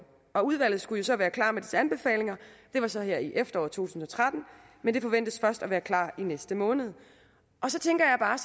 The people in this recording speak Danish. og udvalget skulle så være klar med sine anbefalinger det var så her i efteråret to tusind og tretten men de forventes først at være klar i næste måned så tænker jeg bare